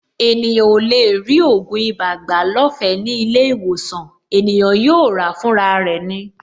Ènìyàn ò lè rí ògùn ibà gbà lọ́fẹ̀ẹ́ ní ilé-ìwòsàn; ènìyàn yóò ràá fúnra rẹ̀ ni.